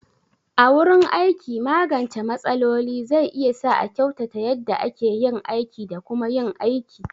A wurin aiki, magance matsaloli zai iya sa a kyautata yadda ake yin aiki da kuma yin aiki.